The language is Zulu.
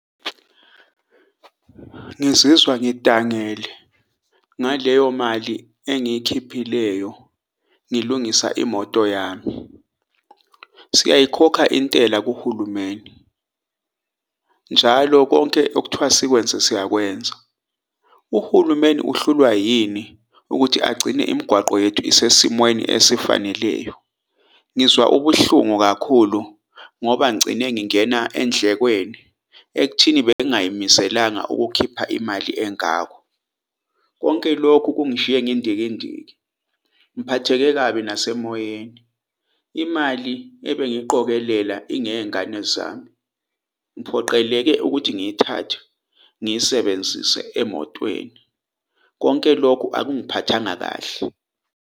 Ngizizwa ngidangele ngaleyo mali engiyikhiphileyo ngilungisa imoto yami. Siyayikhokha intela kuhulumeni njalo konke okuthiwa sikwenze siyakwenza. Uhulumeni uhlulwa yini ukuthi agcine imigwaqo yethu isesimweni esifaneleyo? Ngizwa ubuhlungu kakhulu ngoba ngigcine ngingena endlekweni ekuthini bengayimiselanga ukukhipha imali engako konke lokhu kungishiye ngindikindiki. Ngiphatheke kabi nasemoyeni imali ebengiyiqokelela ingeyezingane zami. Ngiphoqeleke ukuthi ngiyithathe ngiyisebenzise emotweni, konke lokhu akungiphathanga kahle.